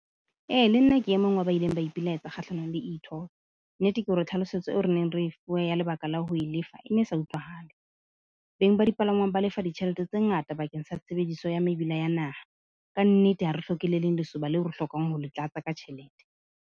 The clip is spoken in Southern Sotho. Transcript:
E le nna ke e mong wa ba ileng ba ipilaetsa kgahlanong le E-toll. Nnete ke hore tlhalosetso eo re neng re e fuwe ya lebaka la ho e lefa e ne e sa utlwahale. Beng ba dipalangwang ba lefa ditjhelete tse ngata bakeng sa tshebediso ya mebila ya naha. Ka nnete, ha re hloke le leng lesoba leo re hlokang ho le tlatsa ka tjhelete.